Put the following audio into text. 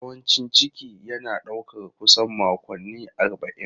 Yawancin ciki na ɗaukar kusan makonni arba'in.